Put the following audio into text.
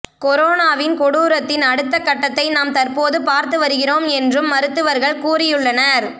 கொரோனாவின் கொடூரத்தின் அடுத்த கட்டத்தை நாம் தற்போது பார்த்து வருகிறோம் என்றும் மருத்துவர்கள் கூறியுள்ளனர்